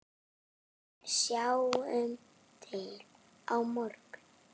En sjáum til á morgun!